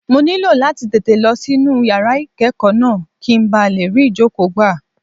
Mo ní láti tètè lọ sí inú yàrá ìkẹ́kọ̀ọ́ náà, kí n ba lè rí ìjókòó gbà.